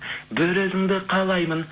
бір өзіңді қалаймын